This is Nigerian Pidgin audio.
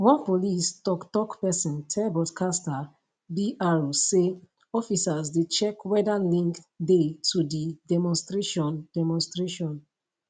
one police toktok pesin tell broadcaster br say officers dey check weda link dey to di demonstration demonstration